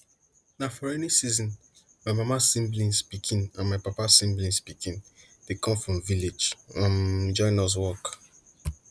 na for rainy season my mama siblings pikin and my papa siblings pikin dey come from village um join us work